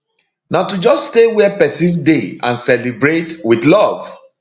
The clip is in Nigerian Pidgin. na to just stay wia pesin dey and celebrate wit love